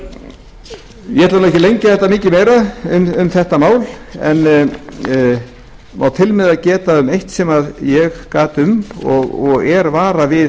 ég ætla ekki að lengja þetta mikið meira um þetta mál en má til með að geta um eitt sem ég gat um og er varað við